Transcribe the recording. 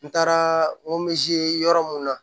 N taara yɔrɔ mun na